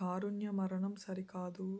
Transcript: కారుణ్యమరణం సరికాదు